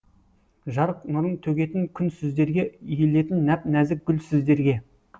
жарық нұрын төгетін күн сіздерге иілетін нәп нәзік гүл сіздерге